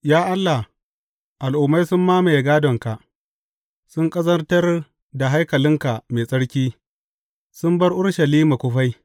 Ya Allah, al’ummai sun mamaye gādonka; sun ƙazantar da haikalinka mai tsarki, sun bar Urushalima kufai.